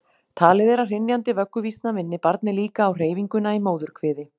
Talið er að hrynjandi vögguvísna minni barnið líka á hreyfinguna í móðurkviði.